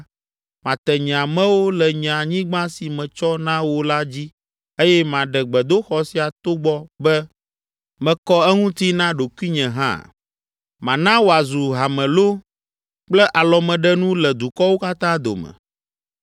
mate nye amewo le nye anyigba si metsɔ na wo la dzi eye maɖe gbedoxɔ sia togbɔ be mekɔ eŋuti na ɖokuinye hã. Mana wòazu hamelo kple alɔmeɖenu le dukɔwo katã dome.